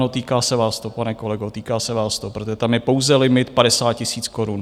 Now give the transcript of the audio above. No, týká se vás to, pane kolego, týká se vás to, protože tam je pouze limit 50 tisíc korun.